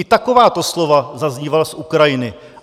I takováto slova zaznívala z Ukrajiny.